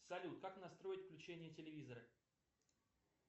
салют как настроить включение телевизора